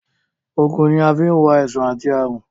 Ògùn ni a fi ń wo àìsàn àti àrùn